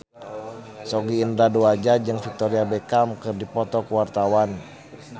Sogi Indra Duaja jeung Victoria Beckham keur dipoto ku wartawan